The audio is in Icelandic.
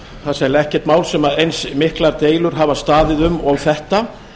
það er sennilega ekkert mál sem eins miklar deilur hafa staðið um og þetta